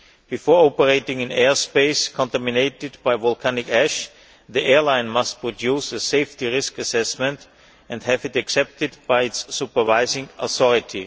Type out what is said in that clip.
Before operating in airspace contaminated by volcanic ash, the airline must produce a safety risk assessment and have it accepted by its supervising authority.